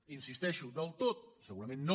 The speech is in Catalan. hi insisteixo del tot segurament no